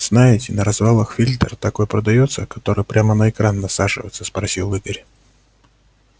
знаете на развалах фильтр такой продаётся который прямо на экран насаживается спросил игорь